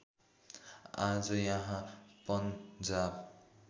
आज यहाँ पन्जाब